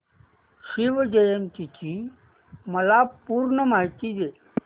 शिवजयंती ची मला पूर्ण माहिती दे